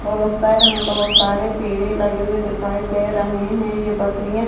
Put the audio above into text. और उस साइड हमें बहोत सारे पेड़े लगे हुए दिखाई दे रहे है। ये बकरियां--